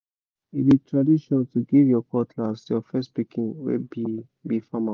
e be tradition to give your cutlass to your first pikin wey be be farmer